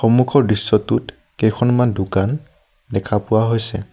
সন্মুখৰ দৃশ্যটোত কেইখনমান দোকান দেখা পোৱা হৈছে।